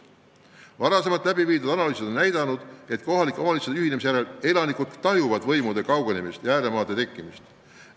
Varem läbi viidud analüüsid on näidanud, et kohalike omavalitsuste ühinemise järel tajuvad elanikud võimu kaugenemist ja ääremaade tekkimist.